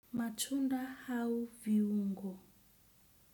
Matunda au viungo.